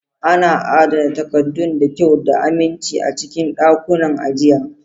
Ana adana takaddun da kyau da aminci a cikin ɗakunan ajiya.